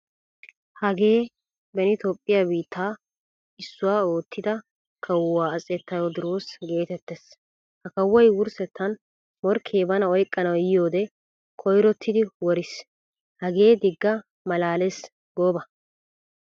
Hagee beni toophphiyaa biittaa issuwaa oottida kawuwa atse tawadiros geetettees. Ha kawoy wurssettan morkke bana oyqqanawu yiyiyode koyrottidi woriis. Hagee digaa malaalees gooba.